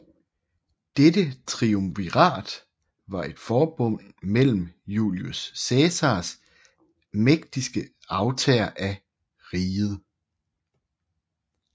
Dette triumvirat var et forbund mellem Julius Cæsars mægtigste arvtagere af riget